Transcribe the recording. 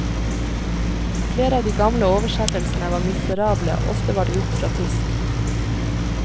Flere av de gamle oversettelsene var miserable, ofte var de gjort fra tysk.